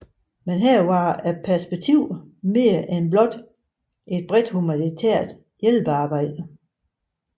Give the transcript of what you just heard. Men her var perspektiverne mere end blot et bredt humanitært hjælpearbejde